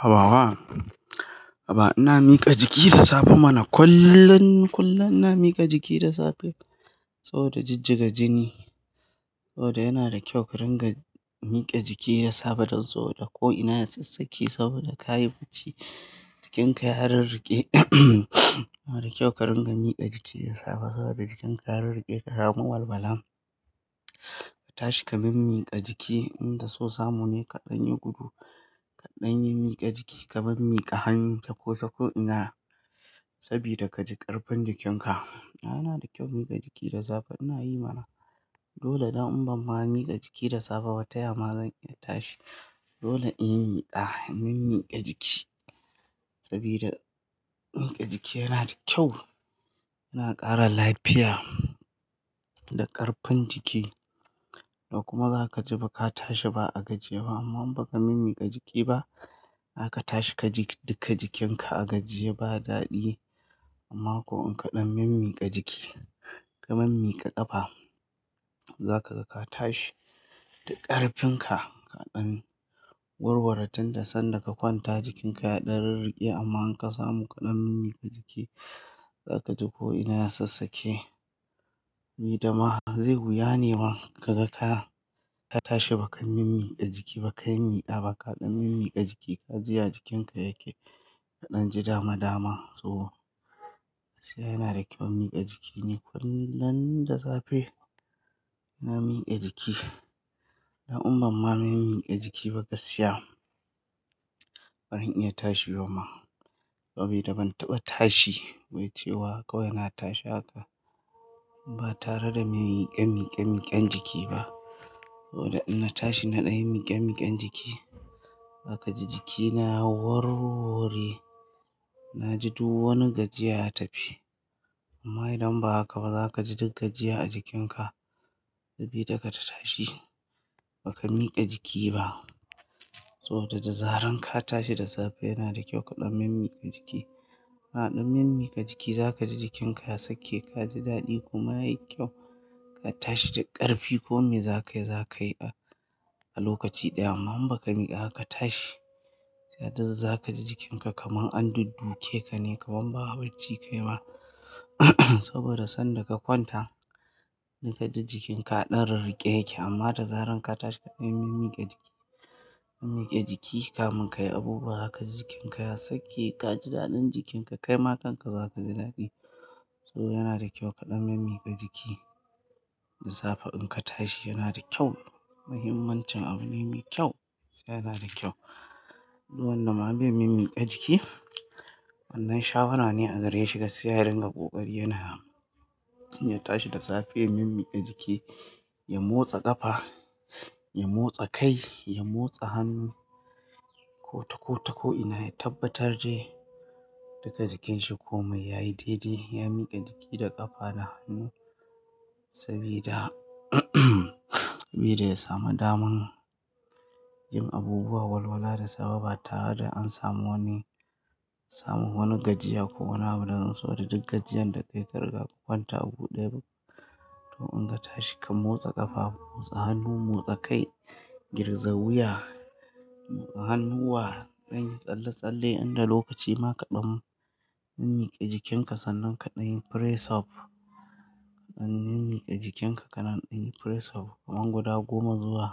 Haba wa. Haba ina miƙa jiki da safe mana, kullum, kullum ina miƙa jiki da safe, saboda jijjiga jini. Saboda yana da kyau ka dinga miƙe jiki da safe dan saboda ko ina ya sassake saboda ka yi bacci, jikinka ya rirriƙe. Yana da kyau ka dinga miƙe jiki da safe saboda jikinka ya rirriƙe ka samu walwala. Ka tashi ka min-miƙa jiki, in da so samu ne kaɗan yi gudu, kaɗan min-miƙa jiki, ka min-miƙa hannu ta ko ta ko ina sabida ka ji ƙarfin jikinka. Yana da kyau miƙa jiki da safe ina yi mana. Dole dan in ban ma miƙa jiki da safe ba ta yama zan iya tashi. Dole in yi miƙa, in min-miƙa jiki, sabida miƙa jiki yana da kyau, yana ƙara lafiya da ƙarfin jiki. Kuma za ka ji ba ka tashi ba a gajiye ba, amma in baka min-miƙa jiki ba zaka tashi ka ji duka jikinka a gajiye ba daɗi. Amma ko in kaɗan min-miƙa jiki, ka min-miƙa ƙafa, za ka ga ka tashi da ƙarfin ka kaɗan warware tunda sanda ka kwanta jikinka ya ɗan rirriƙe amma in ka samu kaɗan min-miƙa jiki, za ka ji ko ina ya sassake. Ni dama zai wuya ne ma kaga ka, ka tashi baka min-miƙa jiki baka yin miƙa ba ka ɗan min-miƙa jiki ka ji ya jikinka yake kaɗan ji dama-dama. So, gaskiya yana da kyau miƙa jiki ni kullum da safe. Ina miƙa jiki. Dan in ban ma min-miƙa jiki ba gaskiya, baran iya tashi bama, sabida ban taɓa tashi wai cewa kawai na tashi haka, ba tare da me miƙe miƙe miƙen jiki ba. Saboda in na tashi na ɗan yi miƙe-miƙen jiki zaka ji jikina ya warwore. Na ji duk wani gajiya ya tafi. Amma idan ba haka ba za ka ji duk gajiya a jikinka, sabida da ka tashi baka miƙa jiki ba. Saboda da zaran ka tashi da safe yana da kyau kaɗan min miƙa jiki. Kana ɗan min-miƙa jiki za ka ji jikinka ya sake ka ji daɗi kuma yayi kyau. Ka tashi da ƙarfi komai za ka yi za ka yi a lokaci ɗaya, amma in baka miƙa ba ka tashi, za duk, za ka ji jikinka kamar an dudduke ka ne kamar ba bacci kayi ba. Saboda sanda ka kwanta, da ka ji jikinka a ɗan rirriƙe yake amma da zaran ka tashi kaɗan min-miƙa jiki min-miƙe jiki kamun ka yi abubuwa zaka ji jikinka ya sake ka ji daɗin jikinka kai ma kanka za ka ji daɗi. So yana da kyau kaɗan min-miƙa jiki da safe in ka tashi yana da kyau. Muhimmancin abune mai kyau, yana da kyau. Duk wanda ma bai min-miƙa jiki, wannan shawara ne a gare shi gaskiya ya ringa ƙoƙari yana yi. In ya tashi da safe ya min-miƙa jiki, ya motsa ƙafa, ya motsa kai, ya motsa hannu ko ta ko ta ko ina, ya tabbatar dai duka jikinshi komai yayi daidai ya miƙa jiki da ƙafa da hannu, sabida sabida ya samu daman yin abubuwa walwala da safe ba tare da an samu wani, samu wani gajiya ko wani abu daban saboda duk gajjiyar da kayi ka riga ka kwanta a gu ɗaya. To in ka tashi ka motsa ƙafa, motsa hannu, motsa kai, girgiza wuya, motsa hannuwa, kaɗan yi tsalle-tsalle, 0 inda lokaci ma kaɗan min miƙe jikinka sannan kaɗan yi press-up. Kaɗan min-miƙe jikinka ka nan kaɗan yi press-up kaman guda goma zuwa